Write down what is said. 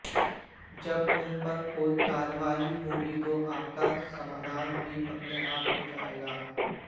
जब उन पर कोई कार्यवाही होगी तो आपका समाधान भी अपने आप हो जाएगा